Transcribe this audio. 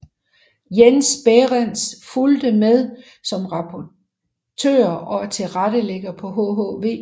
Jesper Bæhrenz fulgte med som rapporter og tilrettelægger på hhv